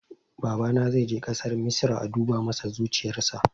Babana zai je ƙasar misra a duba masa zuciyarsa